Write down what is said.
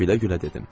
Külə-külə dedim.